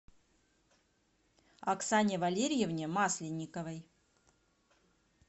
оксане валерьевне масленниковой